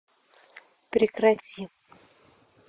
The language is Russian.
прекрати